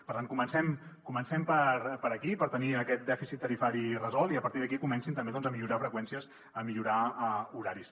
per tant comencem per aquí per tenir aquest dèficit tarifari resolt i a partir d’aquí comencin també a millorar freqüències a millorar horaris